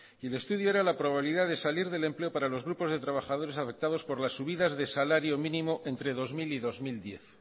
y el estudio era la probabilidad de salir del empleo para los grupos de trabajadores afectados por las subidas de salario mínimo entre dos mil y dos mil diez